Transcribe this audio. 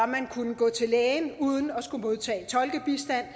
man kunne gå til lægen uden at skulle modtage tolkebistand